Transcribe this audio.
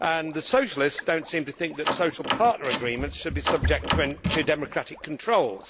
The Socialists do not seem to think that social partner agreements should be subject to democratic controls.